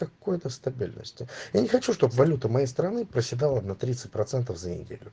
какой-то стабильности я не хочу чтобы валюта моей страны проседала на тридцать процентов за неделю